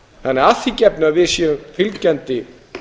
þannig að að því gefnu að við séum fylgjandi